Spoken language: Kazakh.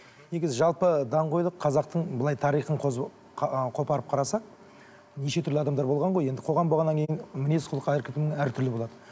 негізі жалпы даңғойлық қазақтың былай тарихын ы қопарып қарасақ неше түрлі адамдар болған ғой енді қоғам болғаннан кейін мінез құлқы әркімнің әртүрлі болады